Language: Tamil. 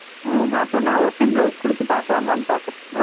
உம் ஹம் அப்போ நான் ஒரு time blouse குடுத்து பாக்கலாமானு பாக்குறேன்